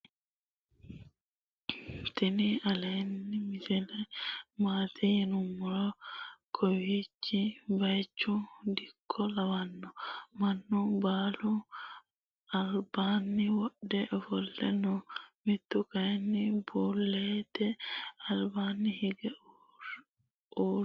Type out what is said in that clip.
tini leltano misile maati yiinumoro .kawochi bayichu. diko lawano manu bule albani wodhe oofole noo. mitu kayini bulwte albanni hige uuee noo.